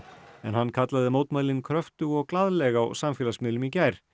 en hann kallaði mótmælin kröftug og glaðleg á samfélagsmiðlum í gær